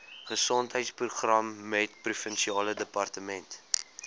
gesondheidsprogramme provinsiale departement